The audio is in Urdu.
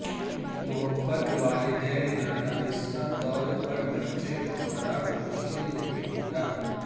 محبت والدین نادانستہ طور پر بچے کو خراب مشکل نہیں ہو گا